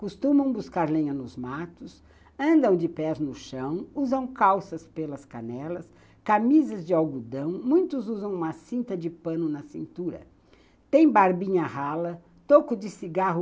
Costumam buscar lenha nos matos, andam de pés no chão, usam calças pelas canelas, camisas de algodão, muitos usam uma cinta de pano na cintura, tem barbinha rala, toco de cigarro